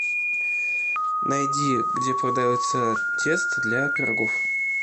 найди где продается тесто для пирогов